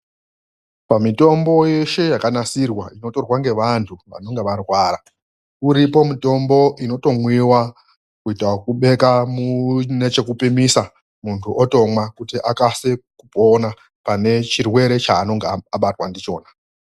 Pamitombo yeshe yakanasirwa inotorwa ngevantu vanenge varwara, uripo mutombo inotomwiwa kuita okubeka munechekupimisa, muntu otomwa kuita akase kupona pane chirwere chaanonga abatwa ndichona.